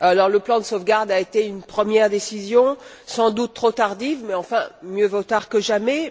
Le plan de sauvegarde a été une première décision, sans doute trop tardive, mais mieux vaut tard que jamais